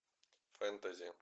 фэнтези